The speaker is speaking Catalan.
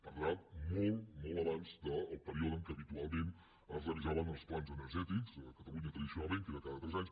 per tant molt molt abans del període en què habitualment es revisaven els plans energètics a catalunya tradicionalment que era cada tres anys